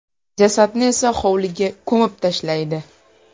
Jasadni esa hovliga ko‘mib tashlaydi.